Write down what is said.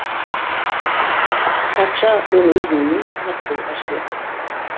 патша оны өзінің үйіне қонақ болуға жібереді